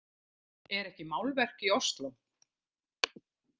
Er ekki málverk í Osló?